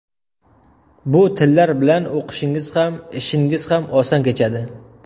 Bu tillar bilan o‘qishingiz ham, ishingiz ham oson kechadi.